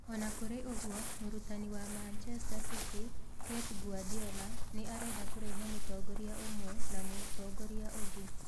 O na kũrĩ ũguo, mũrutani wa Manchester City, Pep Guardiola, nĩ arenda kũrehe mũtongoria ũmwe na mũtongoria ũngĩ.